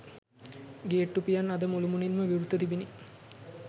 ගේට්ටු පියන් අද මුළුමනින්ම විවෘතව තිබිණි.